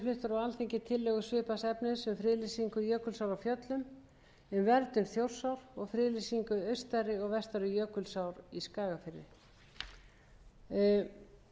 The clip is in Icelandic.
á alþingi tillögur svipaðs efnis um friðlýsingu jökulsár á fjöllum um verndun þjórsár og friðlýsingu austari og vestari jökulsár í skagafirði það er að mínu